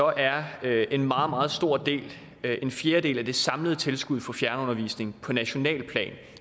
at en meget meget stor del en fjerdedel af det samlede tilskud for fjernundervisning på nationalt plan